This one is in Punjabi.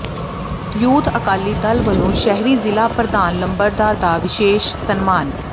ਯੂਥ ਅਕਾਲੀ ਦਲ ਵਲੋਂ ਸ਼ਹਿਰੀ ਜ਼ਿਲ੍ਹਾ ਪ੍ਰਧਾਨ ਲੰਬੜਦਾਰ ਦਾ ਵਿਸ਼ੇਸ਼ ਸਨਮਾਨ